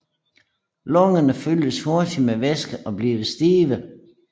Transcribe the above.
Lungerne fyldes hurtigt med væske og bliver stive